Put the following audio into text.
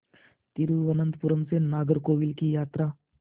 तिरुवनंतपुरम से नागरकोविल की यात्रा